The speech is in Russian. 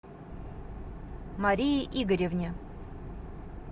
марии игоревне